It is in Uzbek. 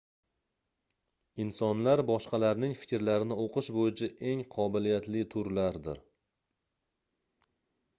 insonlar boshqalarning fikrlarini oʻqish boʻyicha eng qobiliyatli turlardir